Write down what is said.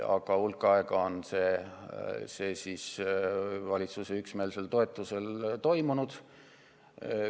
Aga hulk aega on see valitsuse üksmeelsel toetusel toimunud.